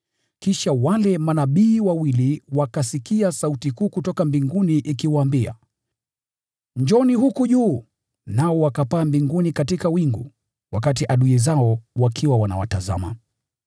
Kisha wale manabii wawili wakasikia sauti kuu kutoka mbinguni ikiwaambia, “Njooni huku juu!” Nao wakapaa mbinguni katika wingu, wakati adui zao wakiwa wanawatazama.